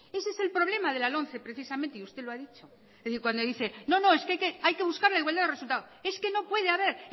ese es el problema de la lomce precisamente y usted lo ha dicho es decir cuando dice es que hay que buscar la igualdad de resultados es que no puede haber